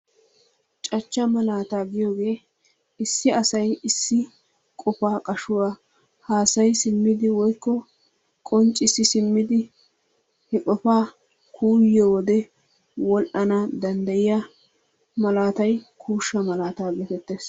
Caachcha malaataa giyoogee issi asay issi qofaa qashshuwaa hasayi siimmidi woykko qonccisi siimmidi he qofaa kuuyiyoo wode wol"ana dandayiyaa malaatay kuushsha malaata getettees.